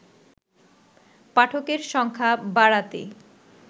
পাঠকের সংখ্যা বাড়াতে